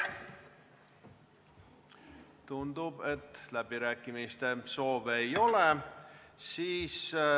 Tundub, et läbirääkimiste soove ei ole.